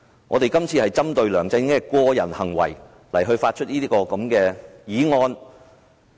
我們今次是針對梁振英的個人行為提出這項議案。